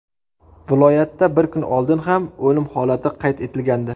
Viloyatda bir kun oldin ham o‘lim holati qayd etilgandi .